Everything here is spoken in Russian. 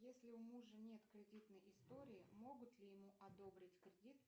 если у мужа нет кредитной истории могут ли ему одобрить кредит